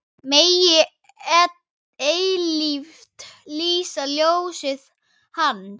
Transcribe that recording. Megi eilíft lýsa ljósið Hans.